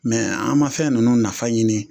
Mɛ an ma fɛn nunnu nafa ɲini